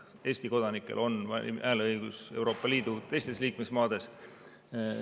Ka Eesti kodanikel on hääleõigus Euroopa Liidu teistes liikmesmaades.